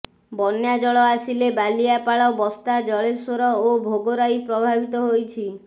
ବନ୍ୟାଜଳ ଆସିଲେ ବାଲିଆପାଳ ବସ୍ତା ଜଳେଶ୍ୱର ଓ ଭୋଗରାଇ ପ୍ରଭାବିତ ହୋଇଛି